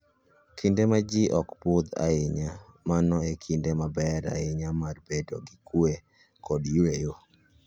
Kinde ma ji ok budh ahinya, mano en kinde maber ahinya mar bedo gi kuwe kod yueyo.